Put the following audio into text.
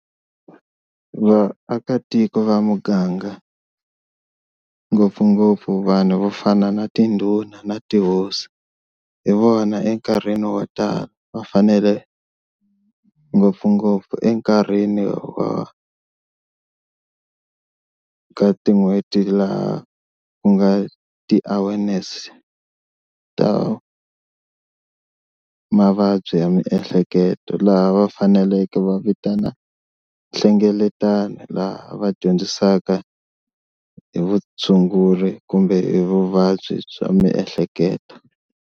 Vaakatiko va muganga ngopfungopfu vanhu vo fana na tindhuna na tihosi hi vona enkarhini wo tala va fanele ngopfungopfu enkarhini wa ka tin'hweti laha ku nga ti-awareness ta mavabyi ya miehleketo lava va faneleke va vitana nhlengeletano laha va dyondzisaka hi vutshunguri kumbe hi vuvabyi bya miehleketo.